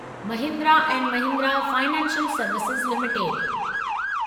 Mahindra and Mahindra financial services limited